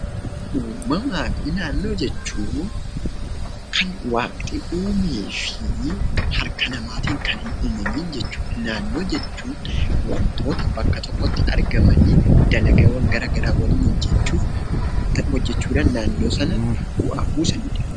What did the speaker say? Uumamaa fi naannoo jechuun kan waaqti uumee fi harka namaatin kan hin uumamiin jechuudha. Naannoo jechuun wantoota bakka tokkotti argamanii dalagaawwan garagaraa waliin hojjechuuf hojjechuudhan naannoo sana bu'aa buusanidha.